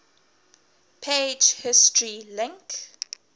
page history link